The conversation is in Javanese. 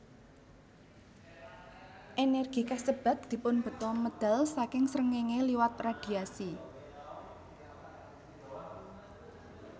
Ènèrgi kasebat dipunbeta medal saking srengéngé liwat radhiasi